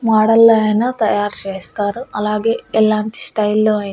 model లో అయిన తయారు చేస్తారు అలాగే ఎలాంటి స్టైల్ లో అయ్--